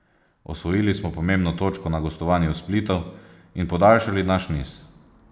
Osvojili smo pomembno točko na gostovanju v Splitu in podaljšali naš niz.